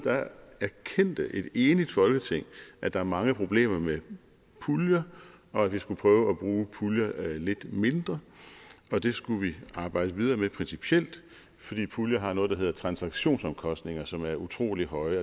erkendte et enigt folketing at der er mange problemer med puljer og at vi skulle prøve at bruge puljer lidt mindre det skulle vi arbejde videre med principielt fordi puljer har noget der hedder transaktionsomkostninger som er utrolig høje